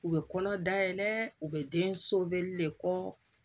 U bɛ kɔnɔ dayɛlɛ u bɛ den soboli le kɔ